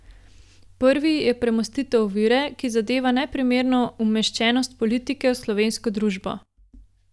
Prvi je premostitev ovire, ki zadeva neprimerno umeščenost politike v slovensko družbo.